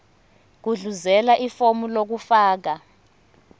gudluzela ifomu lokufaka